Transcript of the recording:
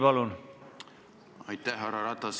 Härra Ratas!